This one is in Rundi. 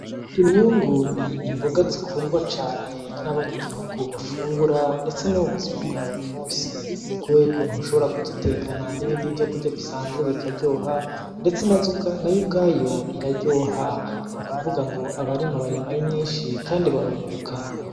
Imyungu ni imboga zikundwa cane n’abanyagihugu bafungura ndetse no mubuzima bwa buri munsi kubera ukuntu ushobora kuzitekana nibindi vyokurya bisanzwe bikaryoha ndetse nayo ubwayo iraryoha nukuvuga ngo abarima barima ari myinshi kandi barunguka.